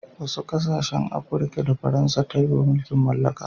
wasu kasashen Afirka da Faransa ta yi wa mulkin mallaka